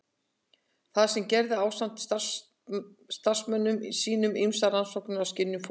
Þar gerði hann ásamt samstarfsmönnum sínum ýmsar rannsóknir á skynjun fólks.